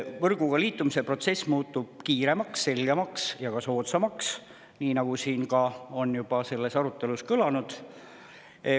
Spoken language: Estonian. Võrguga liitumise protsess muutub kiiremaks, selgemaks ja soodsamaks, nii nagu tänases arutelus on juba kõlanud.